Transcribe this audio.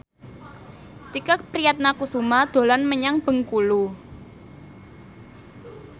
Tike Priatnakusuma dolan menyang Bengkulu